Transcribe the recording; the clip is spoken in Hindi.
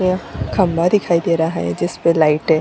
यह खंभा दिखाई दे रहा है जिसपे लाइटे --